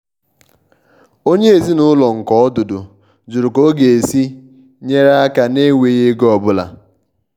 onyé ezinúlọ̀ nke ọdụ́dụ̀ jụrụ̀ ká ọ̀ ga-èsí nyeré aka nà-ènwèghi égò ọ́búlà.